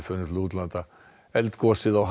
eldgosið á